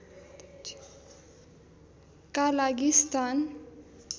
का लागि स्थान